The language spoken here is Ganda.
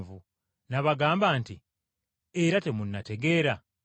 N’abagamba nti, “Era temunnategeera?”